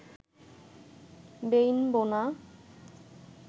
বেইন বোনা